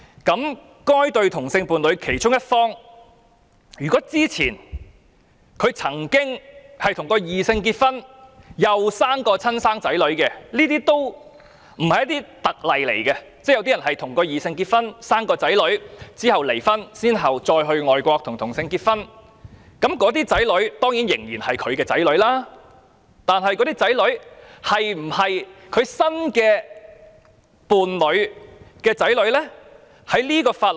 如果這對同性伴侶的其中一方之前曾與異性伴侶結婚並誕下親生子女——這不算特別例子，有些人曾與異性伴侶結婚並育有子女但其後離婚，再到外國與同性伴侶結婚——那些子女當然是他的子女，但他的子女是否其新同性伴侶的子女呢？